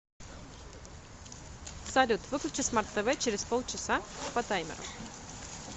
салют выключи смарт тв через полчаса по таймеру